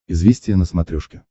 известия на смотрешке